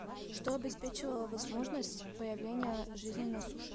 что обеспечивало возможность появления жизни на суше